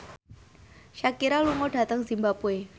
Shakira lunga dhateng zimbabwe